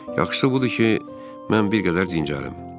yaxşısı budur ki, mən bir qədər dincələyim,